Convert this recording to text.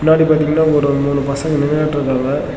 முன்னாடி பாத்தீங்ன்னா ஒரு மூணு பசங்க நின்னுட்ருக்காங்க.